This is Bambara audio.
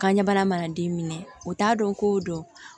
Kanɲɛ bana mana den minɛ o t'a dɔn ko don